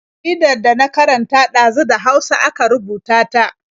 Jaridar da na karanta ɗazu da Hausa aka rubuta ta.